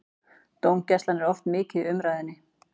Dómgæslan er oft mikið í umræðunni.